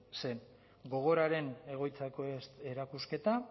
zen gogoraren egoitzako erakusketa